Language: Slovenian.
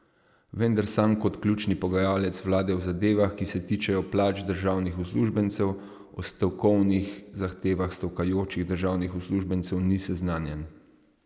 Vendar sam kot ključni pogajalec vlade v zadevah, ki se tičejo plač državnih uslužbencev, o stavkovnih zahtevah stavkajočih državnih uslužbencev ni seznanjen.